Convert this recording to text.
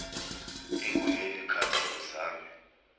ekuleli khasi uzame